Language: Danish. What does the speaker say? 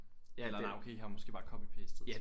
Ja eller nej okay i har måske bare copy pastet